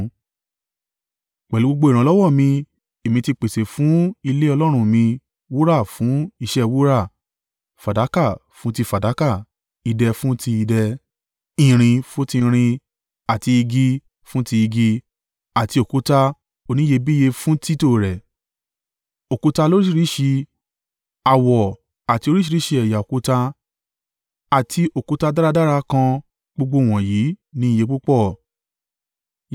Pẹ̀lú gbogbo ìrànlọ́wọ́ mi èmi ti pèsè fún ilé Ọlọ́run mi wúrà fún iṣẹ́ wúrà, fàdákà fún ti fàdákà, idẹ fún ti idẹ, irin fún ti irin àti igi fún ti igi àti òkúta oníyebíye fún títọ́ rẹ̀, òkúta lóríṣìíríṣìí, àwọ̀ àti oríṣìíríṣìí ẹ̀yà òkúta àti òkúta dáradára kan gbogbo wọ̀nyí ní iye púpọ̀.